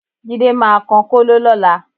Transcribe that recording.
Jídé máa kan kóló lọ́la